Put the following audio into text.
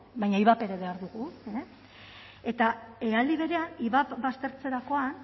baina ivap ere behar dugu eta aldi berean ivap baztertzerakoan